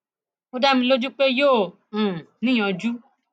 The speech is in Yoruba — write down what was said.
ó dá mi lójú pé yóò um níyanjú